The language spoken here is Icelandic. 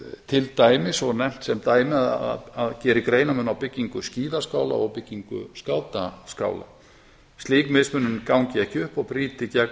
til dæmis þar sem er nefnt sem dæmi að það gerir greinarmun á byggingu skíðaskála og byggingu skátaskála slík mismunun gangi ekki upp og